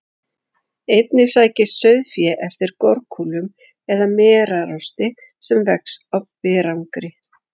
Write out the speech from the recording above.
Einnig sækist sauðfé eftir gorkúlum eða merarosti sem vex á berangri.